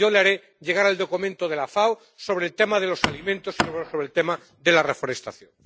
Yo le haré llegar el documento de la FAO sobre el tema de los alimentos y sobre el tema de la reforestación.